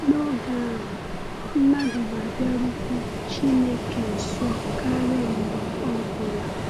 N’oge ahụ, mmadụ ga-abịarukwu Chineke nso karịa mgbe ọ bụla.